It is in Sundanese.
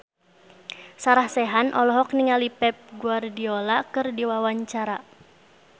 Sarah Sechan olohok ningali Pep Guardiola keur diwawancara